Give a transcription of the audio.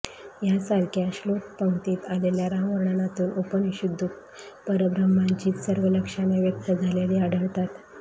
यांसारख्या श्लोकपंक्तीत आलेल्या रामवर्णनातून उपनिषदुक्त परब्रह्माचीच सर्व लक्षणे व्यक्त झालेली आढळतात